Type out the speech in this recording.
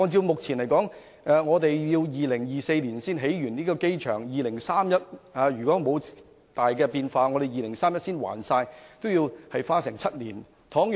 按目前的估計 ，2024 年才能完成擴建機場工程，如果沒有太大變化 ，2031 年才能清還欠款，要花7年時間。